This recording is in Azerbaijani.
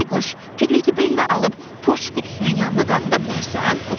Bayquş, Piqleti belinə alıb poçt qutusunun yanına qaldıra bilərsən?